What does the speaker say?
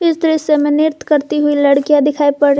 इस दृश्य में नृत्य करती हुई लड़कियां दिखाई पड़--